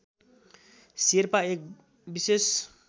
शेर्पा एक विशेष